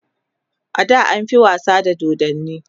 ada an fi wasa da dodanni